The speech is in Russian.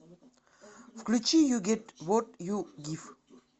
включи ю гет вот ю гив